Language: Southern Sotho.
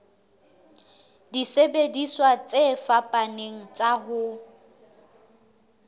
disebediswa tse fapaneng tsa ho